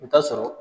I bɛ taa sɔrɔ